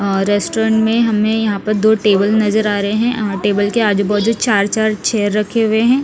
और रेस्टोरेंट में हमे यहाँ पर दो टेबल नजर आ रहे है और टेबल के आजू बाजू चार चार चेयर रखे हुए है।